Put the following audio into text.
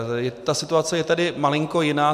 Ta situace je tedy malinko jiná.